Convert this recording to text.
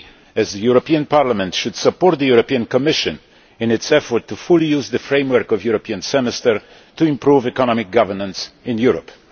We, as the European Parliament, should support the European Commission in its efforts to fully use the framework of the European Semester to improve economic governance in Europe.